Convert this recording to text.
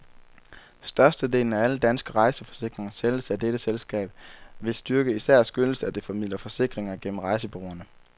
Størstedelen af alle danske rejseforsikringer sælges af dette selskab, hvis styrke især skyldes, at det formidler forsikringer gennem rejsebureauerne.